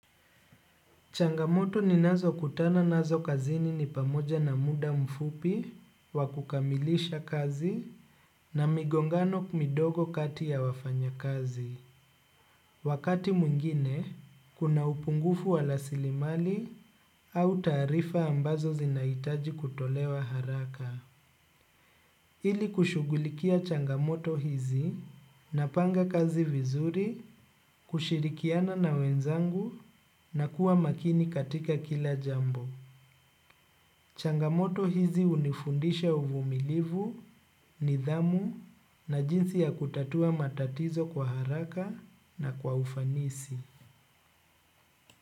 Changamoto ni nazo kutana nazo kazini ni pamoja na muda mfupi, wakukamilisha kazi na migongano midogo kati ya wafanyi kazi. Wakati mwingine, kuna upungufu wa rasilimali au taarifa ambazo zinahitaji kutolewa haraka. Ili kushugulikia changamoto hizi na panga kazi vizuri, kushirikiana na wenzangu na kuwa makini katika kila jambo. Changamoto hizi hunifundisha uvumilivu, nidhamu na jinsi ya kutatua matatizo kwa haraka na kwa ufanisi.